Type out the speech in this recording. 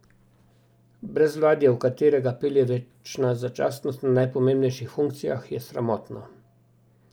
Brezvladje, v katerega pelje večna začasnost na najpomembnejših funkcijah, je sramotno.